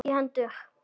í hendur.